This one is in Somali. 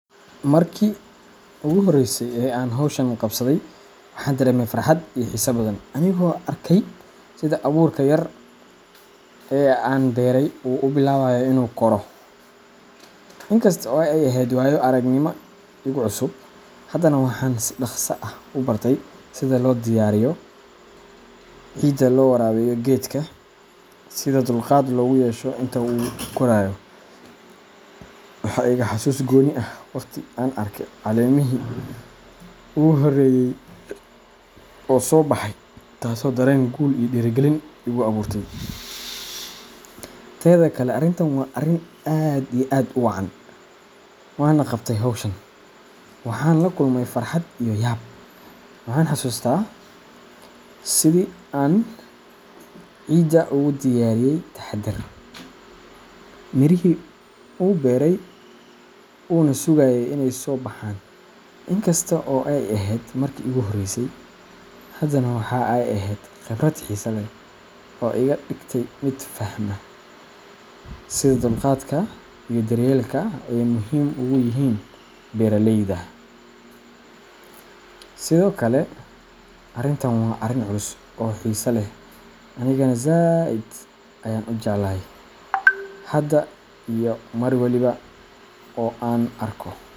Markii ugu horreysay ee aan hawshan qabsaday, waxaan dareemay farxad iyo xiise badan anigoo arkayay sida abuurka yar ee aan beeray uu u bilaabayo inuu koro. In kasta oo ay ahayd waayo aragnimo igu cusub, haddana waxaan si dhaqso ah u bartay sida loo diyaariyo ciidda, loo waraabiyo geedka, iyo sida dulqaad loogu yeesho inta uu koraayo. Waxaa iga xasuus gooni ah waqtigii aan arko caleemihii ugu horreeyay oo soo baxay, taasoo dareen guul iyo dhiirigelin igu abuurtay. Tedha kale arintan waa arin aad iyo aad u wacan wana qabtay hawshan, waxaan la kulmay farxad iyo yaab. Waxaan xasuustaa sidii aan ciidda ugu diyaariyay taxaddar, mirihii u beeray, una sugaayay inay soo baxaan. In kasta oo ay ahayd markii iigu horreysay, haddana waxa ay ahayd khibrad xiiso leh oo iga dhigtay mid fahma sida dulqaadka iyo daryeelka ay muhiim ugu yihiin beeralayda. Sidokale arintan waa arin culus oo xiso leh aniga zaid ayan u jeclahay. Hada iyo mar waliba oo an arko.